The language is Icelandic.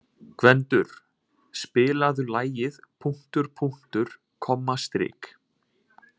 Gvendur, spilaðu lagið „Punktur, punktur, komma, strik“.